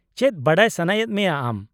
ᱼᱪᱮᱫ ᱵᱟᱰᱟᱭ ᱥᱟᱱᱟᱭᱮᱫ ᱢᱮᱭᱟ ᱟᱢ ?